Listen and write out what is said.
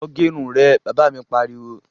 Lọ gẹ irun rẹ', Bàbá mi pariwo